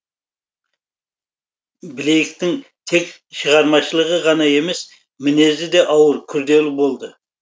блейктің тек шығармашылығы ғана емес мінезі де ауыр күрделі болды